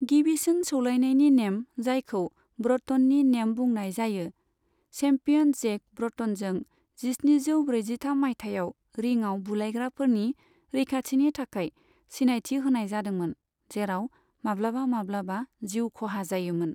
गिबिसिन सौलायनायनि नेम, जायखौ ब्र'टननि नेम बुंनाय जायो, चेम्पियन जेक ब्र'टनजों जिस्निजौ ब्रैजिथाम मायथाइयाव रिङाव बुलायग्राफोरनि रैखाथिनि थाखाय सिनायथि होनाय जादोंमोन जेराव माब्लाबा माब्लाबा जिउ खहा जायोमोन।